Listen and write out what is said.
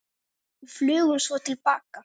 Og flugum svo til baka.